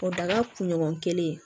O daga kunɲɔgɔn kelen